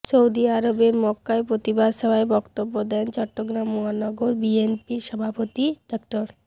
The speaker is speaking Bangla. সৌদি আরবের মক্কায় প্রতিবাদ সভায় বক্তব্য দেন চট্টগ্রাম মহানগর বিএনপির সভাপতি ডা